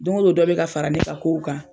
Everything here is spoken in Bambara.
Don ko don dɔ bɛ ka fara ne ka kow kan.